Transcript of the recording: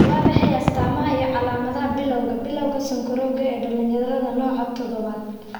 Waa maxay astamaha iyo calaamadaha Bilawga Bilawga sokorowga ee dhalinyarada, nooca todobaad?